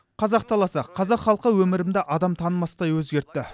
қазақ даласы қазақ халқы өмірімді адам танымастай өзгерті